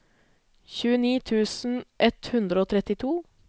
tjueni tusen ett hundre og trettito